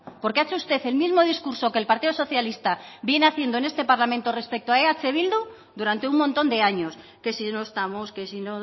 porque ha hecho usted el mismo discurso que el partido socialista viene haciendo en este parlamento respecto a eh bildu durante un montón de años que si no estamos que si